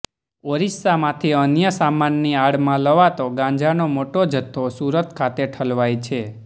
ઓરિસ્સામાંથી અન્ય સામાનની આડમાં લવાતો ગાંજાનો મોટો જથ્થો સુરત ખાતે ઠલવાય છે